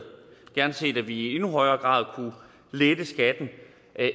gerne set at vi i endnu højere grad kunne lette skatten